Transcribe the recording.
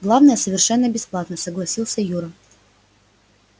главное совершенно бесплатно согласился юра